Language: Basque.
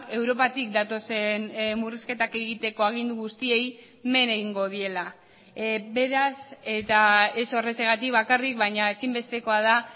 europatik datozen murrizketak egiteko agindu guztiei men egingo diela beraz eta ez horrexegatik bakarrik baina ezinbestekoa da